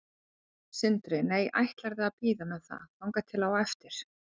Sindri: Nei, ætlarðu að bíða með það þangað til á eftir?